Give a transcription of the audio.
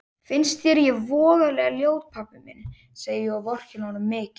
Finnst þér ég voðalega ljót pabbi minn, segi ég og vorkenni honum mikið.